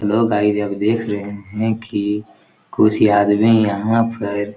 Hello guys आप देख रहे है कि कुछ आदमी यहाँ पर-- .